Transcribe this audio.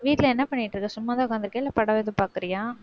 வீட்டில என்ன பண்ணிட்டிருக்க? சும்மாதான் உக்காந்திருக்கியா, இல்ல படம் எதும் பாக்கறியா?